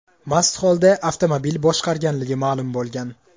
mast holda avtomobil boshqarganligi ma’lum bo‘lgan.